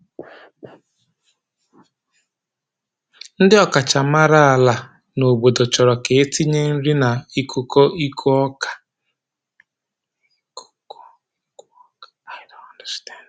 Ndi ọkachamara ala n'obodo chọrọ ka e tinye nrina ịkụkọ ịkụ ọka.